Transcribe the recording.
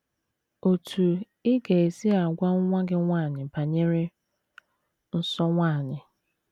OTÚ Ị GA - ESI AGWA NWA GỊ NWANYỊ BANYERE NSỌ NWANYỊ